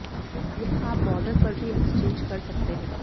यह आप बॉर्डर पर भी एक्सचेंज कर सकते हैं